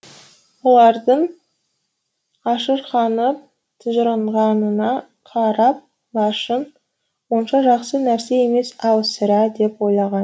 олардың ашырқанып тыжырынғанына қарап лашын онша жақсы нәрсе емес ау сірә деп ойлаған